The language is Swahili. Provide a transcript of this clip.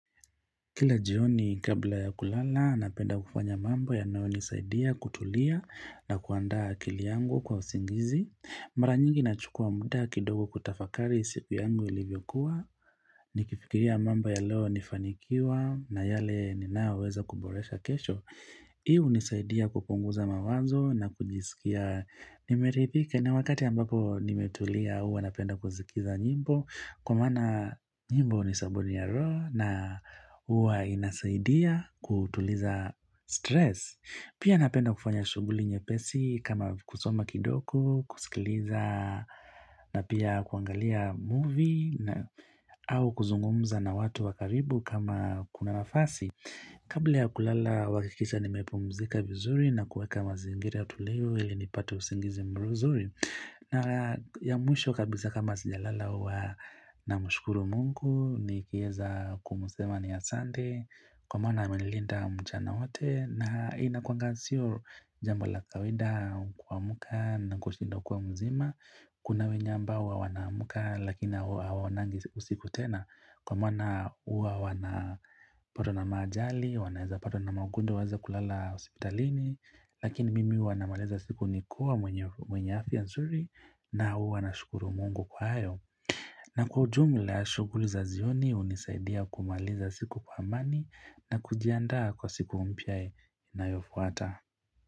Kila jioni kabla ya kulala, napenda kufanya mambo ya nao nisaidia kutulia na kuanda akili yangu kwa usingizi. Mara nyingi nachukua muda kidogo kutafakali siku yangu ilivyokuwa. Nikifikiria mambo ya leo nifanikiwa na yale ninaweza kuboresha kesho. Hiu hunisaidia kupunguza mawazo na kujisikia. Nimeripike na wakati ambapo nimetulia uwa napenda kuzikiza nyimbo. Kwa maana nyimbo ni sabuni ya roho na uwa inasaidia kutuliza stress. Pia napenda kufanya shuguli nyepesi kama kusoma kidoku, kusikiliza na pia kuangalia movie au kuzungumza na watu wakaribu kama kuna nafasi. Kabla ya kulala wakikisha ni mepumzika vizuri na kuweka mazingiri ya tulio ili nipatu usingizi mruzuri. Na ya mwisho kabisa kama sijalala uwa na mshukuru mungu ni kieza kumusema ni ya santi kwa mwana menilinda mchana yote na ina kwanga sio jambo la kawaida kuamuka na kushinda mkwa mzima Kuna wenye ambao uwa wanamuka lakini awa awanangi usiku tena Kwa mwana uwa wana patwa na maajali, wanaeza patwa na magundo, waza kulala hospitalini Lakini mimi uwa namaleza siku ni kuwa mwenye afi anzuri na huwa nashukuru mungu kwa hayo na kwa ujumla shuguli za zioni unisaidia kumaliza siku na amani na kujianda kwa siku umpya inayofuata.